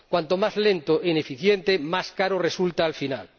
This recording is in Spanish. Cuanto más lento e ineficiente, más caro resulta al final.